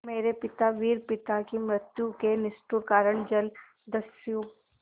मेरे पिता वीर पिता की मृत्यु के निष्ठुर कारण जलदस्यु